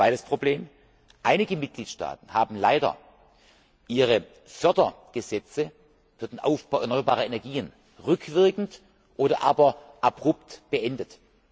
Ein zweites Problem Einige Mitgliedstaaten haben leider ihre Fördergesetze für den Aufbau erneuerbarer Energien rückwirkend oder aber abrupt beendet.